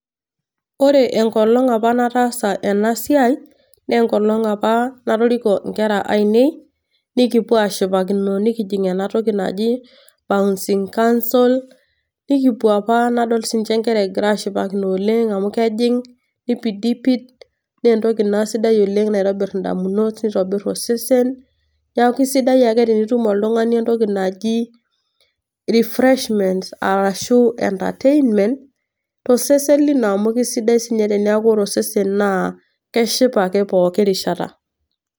Ore enkolong' opa nataasa ena siai, naa enkolong' opa natoriko inkera aainei nikipuo ashipakino nekijing' ena toki naji bouncing castle, nikipuo opa nadol sininche inkera ashipakino oleng' amu kejing' neipidipid naa entoki sidai oleng' naitobir indamunot neitobir osesen. Neaku sidai ake tenetum oltung'ani entoki naji refreshment arashu entertainment tosesen lino amu kisidai sininye teneeku ore osesen lino naa keshipa ake pooki rishata.